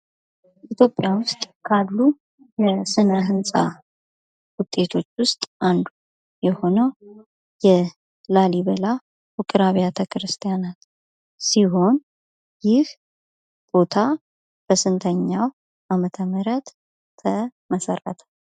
ኢትዮጵያ ውስጥ ካሉ የስነ ህንጻ ውጤቶች ውስጥ አንዱ የሆነው የላሊበላ ውቅርአብያተ ክርስቲያናት ሲሆን, ይህ ቦታ በስንተኛው አመተ ምህረት ተመሠረተ?